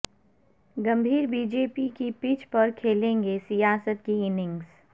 گمبھیر B J P کی pitch پر کھیلیں گے سیاست کی اننگز